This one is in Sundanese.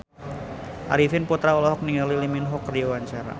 Arifin Putra olohok ningali Lee Min Ho keur diwawancara